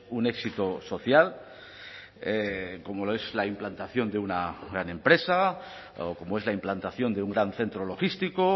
un éxito social como lo es la implantación de una gran empresa como es la implantación de un gran centro logístico